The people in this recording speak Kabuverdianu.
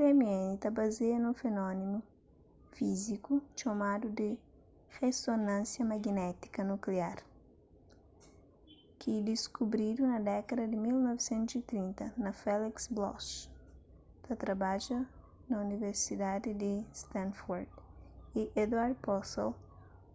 rmn ta bazia nun fenómenu fíziku txomadu di rezonansia magnétiku nukliar rmn ki diskubridu na dékada di 1930 pa felix bloch ta trabadja na universidadi di stanford y edward purcell